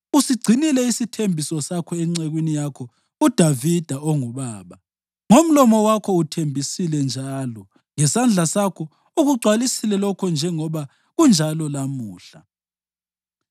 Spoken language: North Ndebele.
Usigcinile isithembiso sakho encekwini yakho uDavida ongubaba; ngomlomo wakho uthembisile njalo ngesandla sakho ukugcwalisile lokho njengoba kunjalo lamuhla.